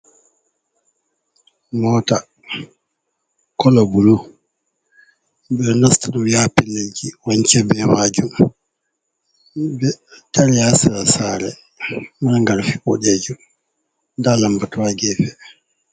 Mota kolo bulu. Be nasta ɗum yaha pellelji. Wance be majum. Be ɗari ha sera sare. margal fuɗejo nɗa lambatuwa gefe.